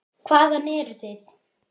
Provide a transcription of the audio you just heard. Hvaðan eruð þið?